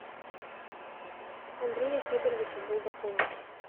андрея федоровича булдакова